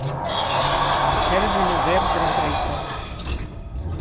Kerfinu verður að breyta